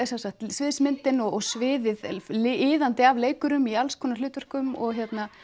sviðsmyndin og sviðið iðandi af leikurum í alls konar hlutverkum og